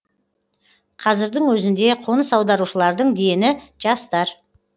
қазірдің өзінде қоныс аударушылардың дені жастар